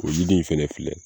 O jiri in fana filɛ